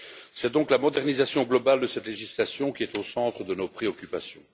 C'est donc la modernisation globale de cette législation qui est au centre de nos préoccupations.